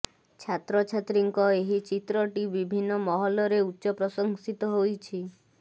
ଛାତ୍ରଛାତ୍ରୀଙ୍କ ଏହି ଚିତ୍ରଟି ବିଭିନ୍ନ ମହଲରେ ଉଚ୍ଚ ପ୍ରଶଂସିତ ହୋଇଛି